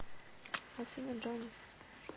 афина джони